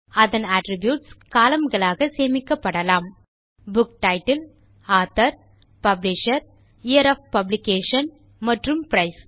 அதன் attributes column களாக சேமிக்கப்படலாம் book title author publisher year of publication மற்றும் பிரைஸ்